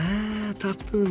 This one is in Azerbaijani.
Hə, tapdım.